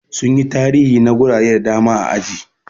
Sun yi tarihi na gurare da dama a aji.